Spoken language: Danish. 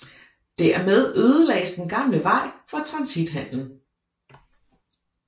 Dermed ødelagdes den gamle vej for transithandelen